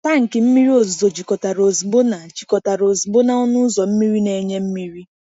Tankị mmiri ozuzo jikọtara ozugbo na jikọtara ozugbo na ọnụ ụzọ mmiri na-enye mmiri.